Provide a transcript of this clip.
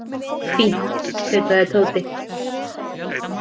Fínt tautaði Tóti.